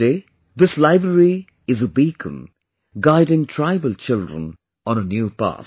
Today this library is a beacon guiding tribal children on a new path